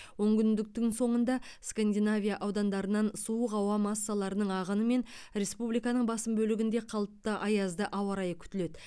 онкүндіктің соңында скандинавия аудандарынан суық ауа массаларының ағынымен республиканың басым бөлігінде қалыпты аязды ауа райы күтіледі